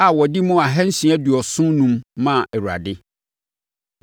a wɔde mu ahansia aduɔson enum (675) maa Awurade;